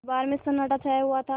दरबार में सन्नाटा छाया हुआ था